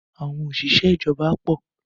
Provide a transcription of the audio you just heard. Àwọn òṣìṣẹ́ ìjọba pọ̀.